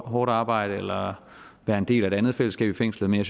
hårdt arbejde eller være en del af et andet fællesskab i fængslet men